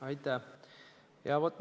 Aitäh!